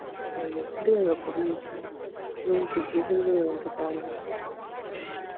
அப்பறம் எப்படி எங்க குடும்பத்தை